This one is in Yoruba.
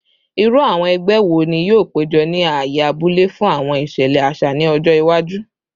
Iru awọn ẹgbẹ wo ni yoo pejọ ni aaye abule fun awọn iṣẹlẹ aṣa ni ọjọ iwaju?